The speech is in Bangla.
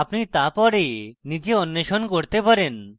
আপনি তা পরে নিজে অন্বেষণ করতে পারেন